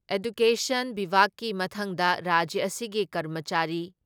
education ꯕꯤꯚꯥꯛꯀꯤ ꯃꯊꯪꯗ ꯔꯥꯖ꯭ꯌ ꯑꯁꯤꯒꯤ ꯀꯔꯃꯆꯥꯔꯤ